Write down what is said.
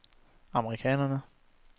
amerikanerne